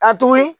Ka tuguni